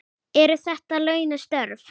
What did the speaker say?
Eru þetta launuð störf?